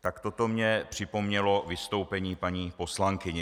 Tak toto mně připomnělo vystoupení paní poslankyně.